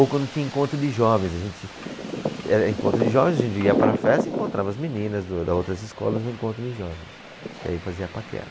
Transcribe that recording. Ou quando tinha encontro de jovens, a gente, era encontro de jovens a gente ia para a festa e encontrava as meninas das outras escolas no encontro de jovens, que aí fazia a paquera.